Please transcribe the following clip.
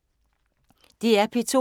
DR P2